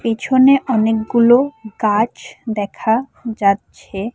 পেছনে অনেকগুলো গাছ দেখা যাচ্ছে।